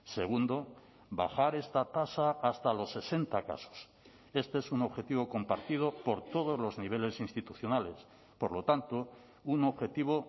segundo bajar esta tasa hasta los sesenta casos este es un objetivo compartido por todos los niveles institucionales por lo tanto un objetivo